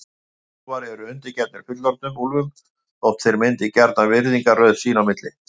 Hálfstálpaðir úlfar eru undirgefnir fullorðnum úlfum þótt þeir myndi gjarnan virðingarröð sín á milli.